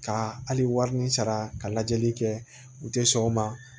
Ka hali wari ni sara ka lajɛli kɛ u tɛ sɔn o ma